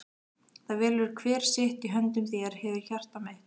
það velur hver sitt- í höndum þér hefurðu hjarta mitt.